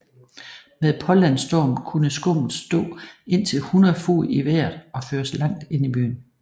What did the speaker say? Med pålandsstorm kunne skummet stå indtil 100 fod i vejret og føres langt ind i byen